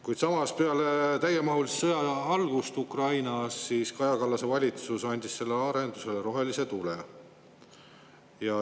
Kuid peale täiemahulise sõja algust Ukrainas andis Kaja Kallase valitsus sellele arendusele rohelise tule.